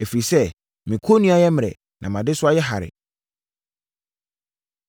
Ɛfiri sɛ, me kɔnnua yɛ mmerɛ, na mʼadesoa yɛ hare.”